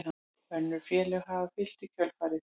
Önnur félög hafa fylgt í kjölfarið